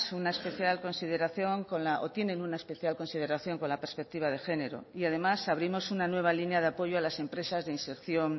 una especial consideración o tienen una especial consideración con la perspectiva de género y además abrimos una nueva línea de apoyo a las empresas de inserción